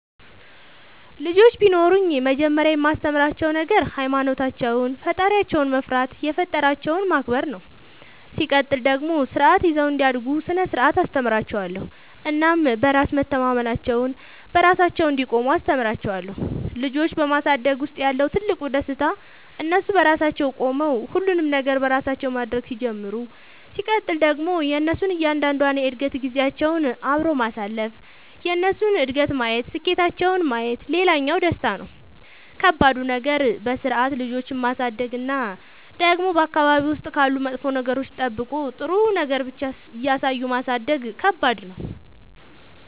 ልጆች ቢኖሩኝ መጀመሪያ የማስተምራቸዉ ነገር ሃይማኖታቸውን ፈጣሪያቸውን መፍራት የፈጠራቸውን ማክበር ነው ሲቀጥል ደግሞ ስርዓት ይዘው እንዲያድጉ ስነ ስርዓት አስተምራችኋለሁ እናም በራስ መተማመናቸውን, በራሳቸው እንዲቆሙ አስተምራቸዋለሁ። ልጆች በማሳደግ ውስጥ ያለው ትልቁ ደስታ እነሱ በራሳቸው ቆመው ሁሉንም ነገር በራሳቸው ማድረግ ሲጀምሩ ሲቀጥል ደግሞ የእነሱን እያንዳንዷን የእድገት ጊዜያቸውን አብሮ ማሳለፍ የእነሱን እድገት ማየት ስኬታቸውን ማየት ሌላኛው ደስታ ነው። ከባዱ ነገር በስርዓት ልጆችን ማሳደግ እና ደግሞ በአካባቢ ውስጥ ካሉ መጥፎ ነገሮች ጠብቆ ጥሩ ነገር ብቻ እያሳዩ ማሳደግ ከባድ ነው።